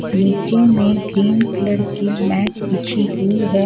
नीचे में green colour कि मैट बिछी हुई है.